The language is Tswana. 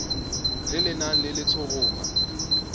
le le nang le letshoroma